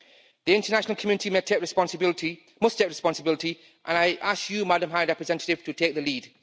The international community may take responsibility, must take responsibility, and I ask you, Madam High Representative, to take the lead.